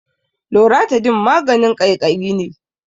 Loratidine maganin ƙaiƙayi ne.